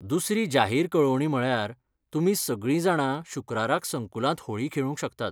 दुसरी जाहीर कळवणी म्हळ्यार, तुमी सगळीं जाणां शुक्राराक संकुलांत होळी खेळूंक शकतात.